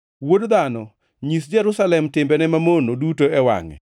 “Wuod dhano, nyis Jerusalem timbene mamono duto e wangʼe,